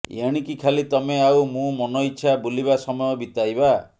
ଏଣିକି ଖାଲି ତମେ ଆଉ ମୁଁ ମନଇଚ୍ଛା ବୁଲିବା ସମୟ ବିତାଇବା